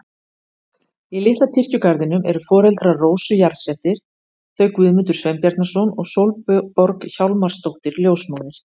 Í litla kirkjugarðinum eru foreldrar Rósu jarðsettir, þau Guðmundur Sveinbjarnarson og Sólborg Hjálmarsdóttir ljósmóðir.